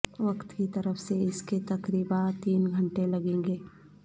وقت کی طرف سے اس کے تقریبا تین گھنٹے لگیں گے